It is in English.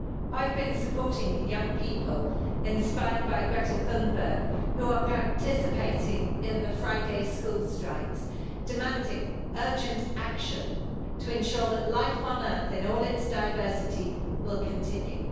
I've been supporting the young people, inspired by Greta Thunberg, who are participating in the Friday school strikes, demanding urgent action to ensure that life on earth in all its diversity will continue.